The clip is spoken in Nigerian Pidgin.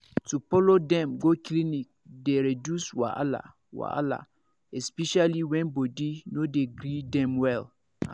to follow dem go clinic dey reduce wahala wahala especially when body no dey gree dem well ehn